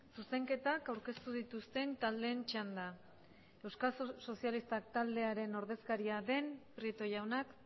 zuzenketak aurkeztu dituzten taldeen txanda euskal sozialistak taldearen ordezkaria den prieto jaunak